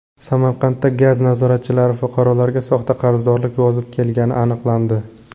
Samarqandda gaz nazoratchilari fuqarolarga soxta qarzdorlik yozib kelgani aniqlandi.